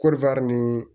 ni